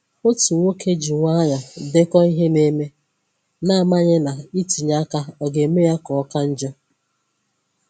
Otu nwoke ji nwayọọ dèkò ihe na-eme, na amaghị ná itinye aka ọga eme ya ka ọka njọ.